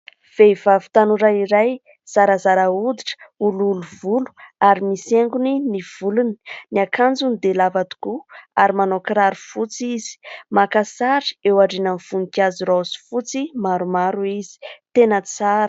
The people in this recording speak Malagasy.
Vehivavy tanora iray, zarazara hoditra, olioly volo ary misy haingony ny volony. Ny akanjony dia lava tokoa, ary manao kiraro fotsy izy. Maka sary eo aorian'ny voninkazo raozy fotsy maromaro izy, tena tsara.